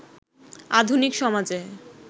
আধুনিক সমাজে